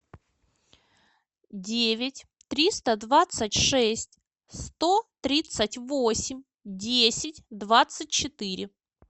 девять триста двадцать шесть сто тридцать восемь десять двадцать четыре